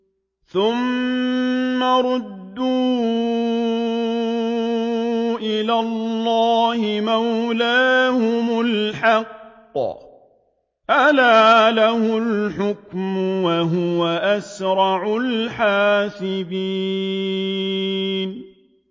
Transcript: ثُمَّ رُدُّوا إِلَى اللَّهِ مَوْلَاهُمُ الْحَقِّ ۚ أَلَا لَهُ الْحُكْمُ وَهُوَ أَسْرَعُ الْحَاسِبِينَ